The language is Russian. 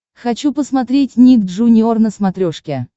хочу посмотреть ник джуниор на смотрешке